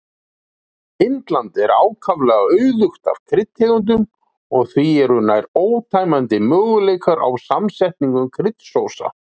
Indland er ákaflega auðugt af kryddtegundum og því eru nær ótæmandi möguleikar á samsetningu kryddsósa.